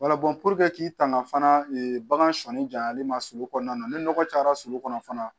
k'i tanga fana bagan sɔnni jali ma su kɔnɔna ni nɔgɔ cayara sulu kɔnɔ fana